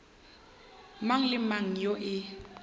mang le mang yoo e